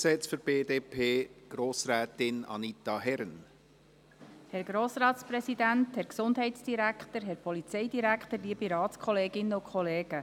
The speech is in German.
Grossrätin Anita Herren spricht für die BDP zum zweiten Gesetz.